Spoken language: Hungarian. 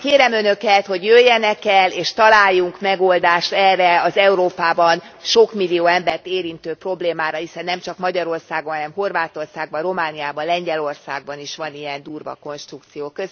Kérem Önöket, hogy jöjjenek el, és találjunk megoldást erre az Európában sok millió embert érintő problémára, hiszen nemcsak Magyarországon, hanem Horvátországban, Romániában, Lengyelországban is van ilyen durva konstrukció.